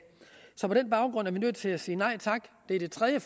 så på den baggrund er vi nødt til at sige nej tak det er det tredje